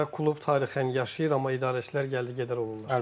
Klub tarixən yaşayır, amma idarəçilər gəldi-gedər olurlar.